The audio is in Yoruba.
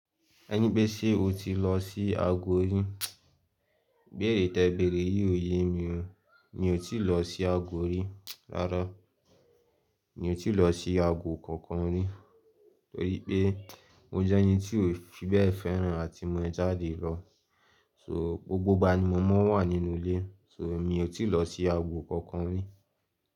Ẹni pé ṣe o ti lọ sí agbo rí? Ibéèrè tẹ bẹ̀rẹ̀ yìí òye mi ò, mi ò ti lọ sí agbo rí, rárá. Mi ti lọ sí agbo kankan rí, torí pé mo jẹ́ ẹni tí ò fi bẹ́ẹ̀ fẹ́ràn àti mo jáde lọ. So, gbogbo ìgbà ni mo máa ń wà nínú ilé, so mi ò ti lọ sí agbo kankan rí.